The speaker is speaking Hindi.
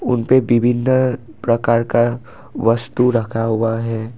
उनपे विभिन्न प्रकार का वस्तु रखा हुआ है।